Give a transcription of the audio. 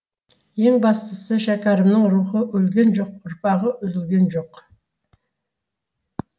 ең бастысы шәкәрімнің рухы өлген жоқ ұрпағы үзілген жоқ